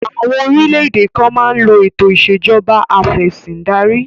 Àwọn orílẹ̀-èdè kan máa ń lo ètò ìṣẹ̀jọba afẹ̀sìndarí